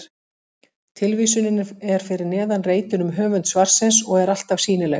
Tilvísunin er fyrir neðan reitinn um höfund svarsins og er alltaf sýnileg.